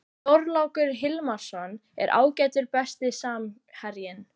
Þorlákur Hilmarsson er ágætur Besti samherjinn?